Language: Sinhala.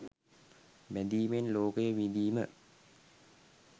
බැඳීමෙන් ලෝකය විඳීම,